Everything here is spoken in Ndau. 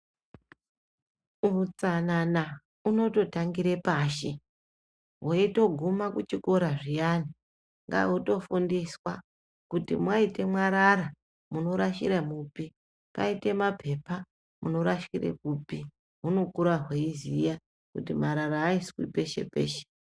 Utsanana unototangire pashi weitoguma kuchikora zviyani ngahutofundiswa kuti mwaite mwarara munorashira mupi paite mapepa munorashire kupi, hunokura hweiziya kuti marara aiswi peshe peshe.